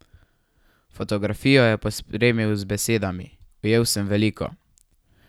Fotografijo je pospremil z besedami: ''Ujel sem veliko.